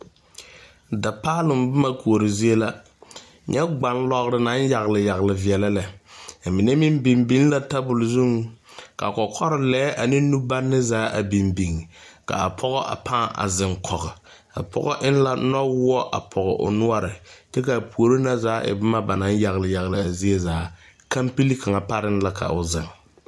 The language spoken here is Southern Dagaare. Dapaaloŋ boma kɔɔre zie la, nyɛ gbanyɔre naŋ yɛgele veɛlɛ lɛ, a mine meŋ biŋ biŋ la tabol zuŋ ka kɔrelɛɛ ane nubanne zaa a biŋ biŋ, ka a pɔge paa a zeŋ kɔge a pɔge eŋ la noɔwoɔ a pɔge o noɔre kyɛ kaa puori. naŋ e zie ba naŋ yagele yagele a zie zaa kampili kaŋa pareŋ la ka o zeŋ.